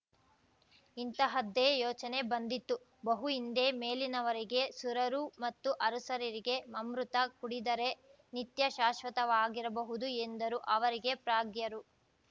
ಇಂತಹದ್ದೇ ಯೋಚನೆ ಬಂದಿತ್ತು ಬಹು ಹಿಂದೆ ಮೇಲಿನವರಿಗೆ ಸುರರು ಮತ್ತು ಅರಸುರರಿಗೆ ಅಮೃತ ಕುಡಿದರೆ ನಿತ್ಯಶಾಶ್ವತವಾಗಿರಬಹುದು ಎಂದರು ಅವರಿಗೆ ಪ್ರಾಗ್ಯರು